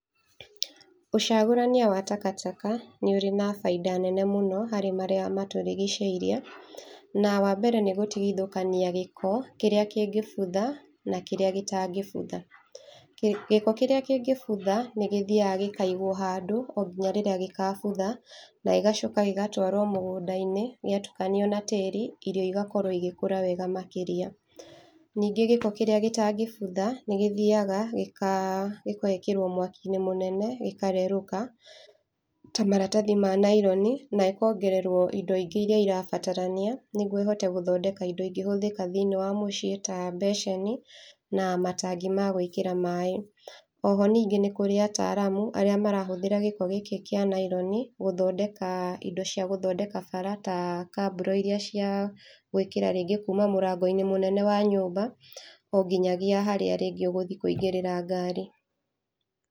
Ũcagũrania wa taka taka nĩũri na baida nene mũno harĩ marĩa matũrigicĩirie, na wambere nĩ gũtigithũkania gĩko kĩrĩa kĩngĩbutha na kĩrĩa gĩtangĩbutha. Gĩ gĩko kĩrĩa kĩngĩbutha nĩgĩthiaga gĩkaigwo handũ ngĩnya rĩrĩa gĩgabũtha, na gĩgacoka gĩgatwarwo mũgũnda-inĩ gĩatukanio na tĩĩri irio igakorwo igĩkũra wega makĩria. Ningĩ gĩko kĩrĩa gĩtangĩbutha nĩgĩthiaga gĩka gĩgekĩrwo mwaki-inĩ mũnene gĩkarerũka ta maratathi ma naironi na makongererwo indo ingĩ iria irabatarania nĩgũo ihote gũthondeka indo ingĩhũthika thĩinĩ wa mũciĩ ta basin na matangi ma gwĩkĩra maĩĩ. Oho ningĩ nĩkũrĩ ataramu arĩa marahũthĩra gĩko gĩkĩ kĩa naironi gũthondeka indo cia gũthondeka bara ta kaburo iria cia gwĩkira kuũdũ ta mũrango-inĩ mũnene wa nyũmba onginyagia haria ringĩ ũgũthiĩ kuingĩrĩra ngari.